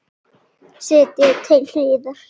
Setjið til hliðar.